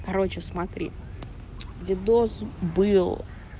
короче смотри видос был